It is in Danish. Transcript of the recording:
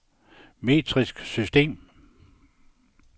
metrisk system